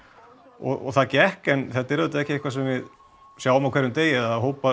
og það gekk en þetta er auðvitað ekki eitthvað sem við sjáum á hverjum degi að hópur